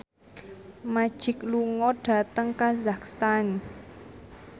Magic lunga dhateng kazakhstan